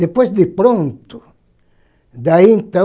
Depois de pronto, daí então,